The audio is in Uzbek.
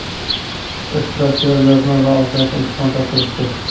ishtirokchilar yozma va og‘zaki imtihon topshirishdi.